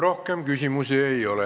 Rohkem ettekandjale küsimusi ei ole.